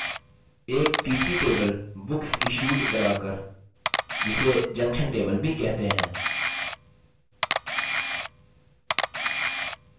एक तीसरी table booksissued बना कर जिसे junction table भी कहते हैं